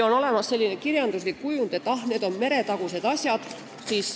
On olemas selline kirjanduslik kujund, et ah, need on meretagused asjad.